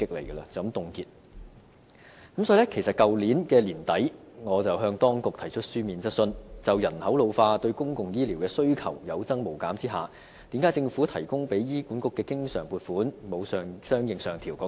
因此，我在去年年底向當局提出書面質詢，詢問政府在人口老化對公共醫療的需求有增無減的情況下，為何提供給醫管局的經常撥款沒有相應上調？